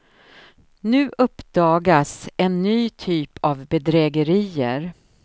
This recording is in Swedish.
Nu uppdagas en ny typ av bedrägerier.